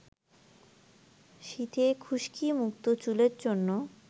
শীতে খুশকিমুক্ত চুলের জন্য